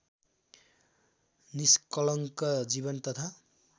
निष्कलङ्क जीवन तथा